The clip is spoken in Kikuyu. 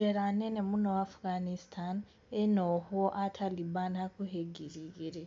Jela nene mũno Afghanistan rina ohwo aa Taliban hakuhi ngiri igiri.